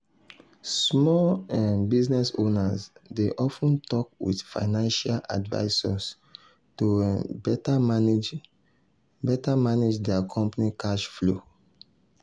small um business owners dey of ten talk with financial advisors to um better manage um better manage dia company cash flow. um